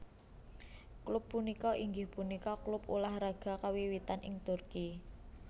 Klub punika inggih punika klub ulah raga kawiwitan ing Turki